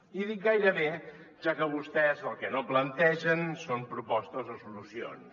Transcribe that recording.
i dic gairebé ja que vostès el que no plantegen són propostes o solucions